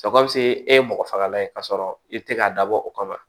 e ye mɔgɔ fagalan ye k'a sɔrɔ i te k'a dabɔ o kama